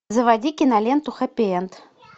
заводи киноленту хэппи энд